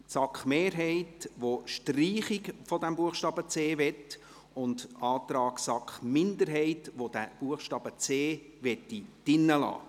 Die SAK-Mehrheit will eine Streichung des Buchstabens c, die SAK-Minderheit möchte den Buchstaben c im Gesetz belassen.